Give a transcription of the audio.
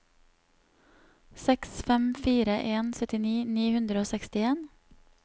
seks fem fire en syttini ni hundre og sekstien